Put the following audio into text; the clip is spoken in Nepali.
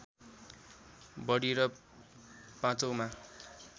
बढी र पाँचौँमा